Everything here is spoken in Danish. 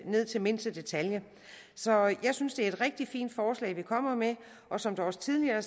ned til mindste detalje så jeg synes det er et rigtig fint forslag ministeren kommer med og som det også tidligere er